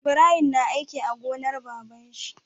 Ibrahim na aiki a gonar baban shi